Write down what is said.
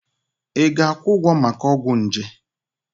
Ị ga-akwụ ụgwọ maka ọgwụ nje?